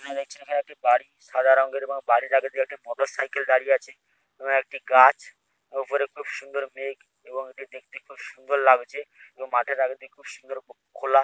এখানে দেখছি একটি বাড়ি সাদা রঙের বাড়ি বাড়ির আগের দিগে একটি মোটরসাইকেল দাঁড়িয়ে আছে এবং একটি গাছ উপরে খুব সুন্দর মেঘ এবং দেখতে খুব সুন্দর লাগছে এবং মাঠের আগের দিক খুব সুন্দর খোলা--